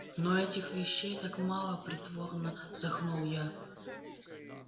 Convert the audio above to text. но этих вещей так мало притворно вздохнул я